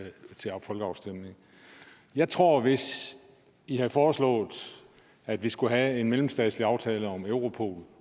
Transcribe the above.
folkeafstemning jeg tror at hvis i havde foreslået at vi skulle have en mellemstatslig aftale om europol